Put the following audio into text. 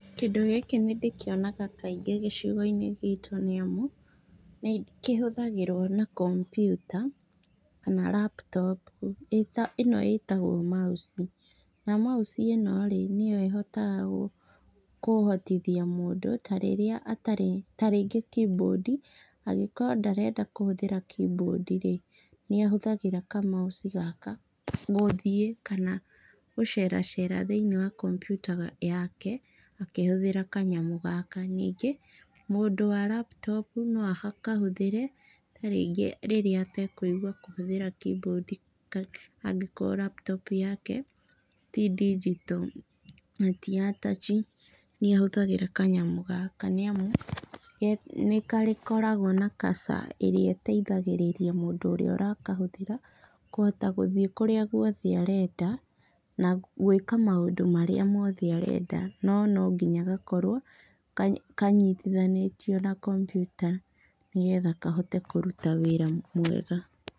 Kĩndũ gĩkĩ nĩndĩkĩonaga kaingĩ gĩcigo-inĩ gitu, nĩamu nĩ kĩhũthagĩro na kompiuta kana laptop, ĩno ĩtagwo mouse na mouse ĩno rĩ nĩyo ĩhotaga kũhotithia mũndũ tarĩrĩa atarĩ ta rĩngĩ keyboard angĩkorwo ndarenda kũhũthĩra keyboard rĩ niahũthagĩra ka mouse gaka gũthiĩ kana gũcera cera thĩiniĩ wa kompiuta yake akĩhũthĩra kanyamũ gaka, ningĩ mũndũ wa laptop noakahũthĩre ta rĩngĩ rĩrĩa atekũigua kũhũthĩra keyboard angĩkorwo laptop yake tĩ digital na tĩ ya touch niahũthagĩra kanyamũ gaka nĩamu nĩ gakoragwo na cursor ĩrĩa ĩtĩithagĩrĩria mũndũ ũrĩa ũrakahũthĩra kũhota gũthiĩ kũrĩa guothe arenda na gwĩka maũndũ marĩa mothe arenda, no nonginya gakorwo kanyitithanĩtio na kompiuta nĩgetha kahote kũruta wĩra mwega.